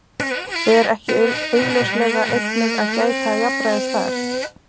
Ber ekki augljóslega einnig að gæta jafnræðis þar?